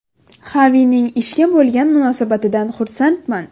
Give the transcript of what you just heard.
Xavining ishga bo‘lgan munosabatidan xursandman.